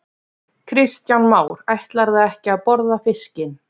Kristján Már: Ætlarðu ekki að borða fiskinn?